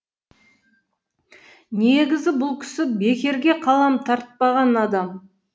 негізі бұл кісі бекерге қалам тартпаған адам